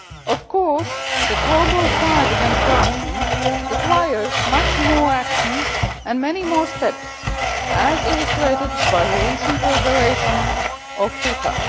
Of course, the global fight against corruption requires much more action and many more steps, as illustrated by the recent revelations on FIFA.